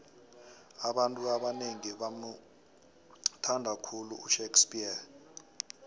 abantu abanengi bamuthnada khulu ushakespears